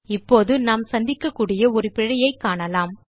இப்போது நாம் சந்திக்கக்கூடிய ஒரு பிழையைக் காணலாம்